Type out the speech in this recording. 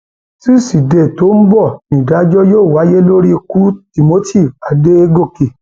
tusidee tó ń bọ nídájọ yóò wáyé lórí ku timothy adọgọkẹ